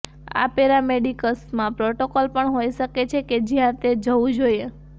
આ પેરામેડિક્સમાં પ્રોટોકોલ પણ હોઈ શકે છે કે જ્યાં તે જવું જોઈએ